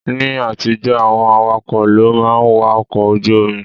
Ní àtijọ́, àwọn awakọ̀ ló máa ń wa ọkọ̀ ojú omi.